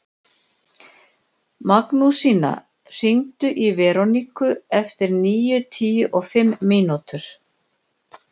Magnúsína, hringdu í Veroniku eftir níutíu og fimm mínútur.